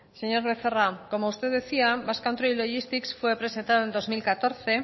señor becerra como usted decía basque country logistics fue presentada en dos mil catorce